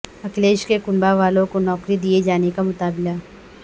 اکھلیش کے کنبہ والوں کونوکری دیئے جانے کا مطالبہ